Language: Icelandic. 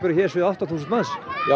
hér séu um átta þúsund manns já